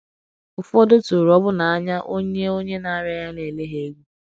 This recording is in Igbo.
Ụfọdụ tụrụ ọbụna anya onye onye na - arịa ya na - ele ha egwu!